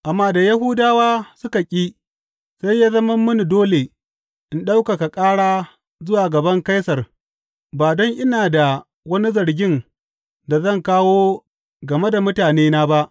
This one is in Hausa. Amma da Yahudawa suka ƙi, sai ya zama mini dole in ɗaukaka ƙara zuwa gaban Kaisar ba don ina da wani zargin da zan kawo game da mutanena ba.